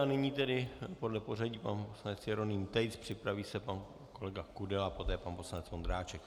A nyní tedy podle pořadí pan poslanec Jeroným Tejc, připraví se pan kolega Kudela, poté pan poslanec Vondráček.